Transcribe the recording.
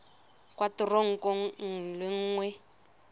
kwa kantorong nngwe le nngwe